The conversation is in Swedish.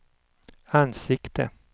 ansikte